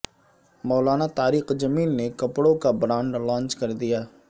مولانا طارق جمیل نے کپڑوں کا برانڈ لانچ کردیا